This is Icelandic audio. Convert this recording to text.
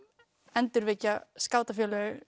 endurvekja skátafélög